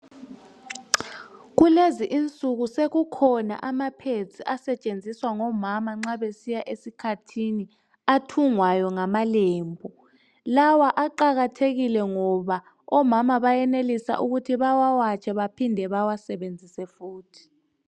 Kulezi insuku sekukhona amapads asetshenziswa ngomama nxa besiya esikhathini. Athungwayo ngamalembu. Lawa aqakathekile, ngoba omama bayenelisa ukuthi bawawatshe. Baphinde bawasebenzise futhi.